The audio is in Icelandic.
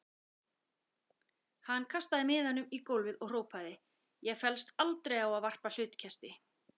Hann kastaði miðanum í gólfið og hrópaði: Ég féllst aldrei á að varpa hlutkesti.